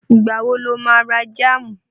Ìgbà wo lo má ra jáàmù?